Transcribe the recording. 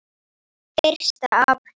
Fyrsta apríl.